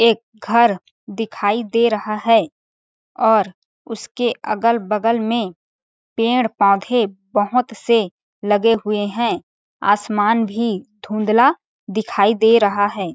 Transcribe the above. एक घर दिखाई दे रहा है और उसके अगल-बगल में पेड़-पोधे बहोत से लगे हुए आसमान भी धुंधला दिखाई दे रहा है।